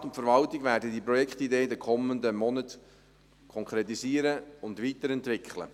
Der Regierungsrat und die Verwaltung werden diese Projektideen in den kommenden Monaten konkretisieren und weiterentwickeln.